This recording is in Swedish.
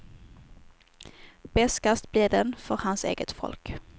Beskast blir den för hans eget folk.